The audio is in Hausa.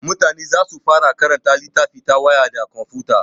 Mutane za su fara karanta littafi ta waya da komfuta.